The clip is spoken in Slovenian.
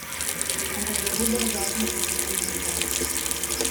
Ampak za dober zakon sta potrebna dva.